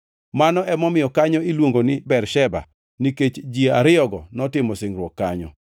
Mano emomiyo kanyo iluongo ni Bersheba nikech ji ariyogo notimo singruok kanyo.